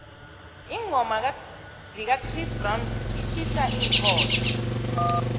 iingoma zikachris brown itjhisa iinkhotha